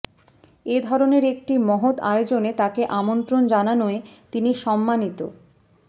এ ধরনের একটি মহৎ আয়োজনে তাকে আমন্ত্রণ জানানোয় তিনি সম্মানিত